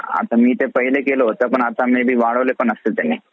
आता मी ते पाहिले केलं होतं. आता may be वाढवले पण असतील त्यांनी.